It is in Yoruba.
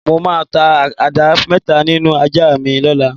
Mo máa ta ajá mé̩ta nínú ajá mi ló̩la.